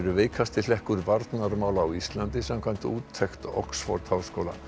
veikasti hlekkur varnarmála á Íslandi samkvæmt úttekt Oxford háskóla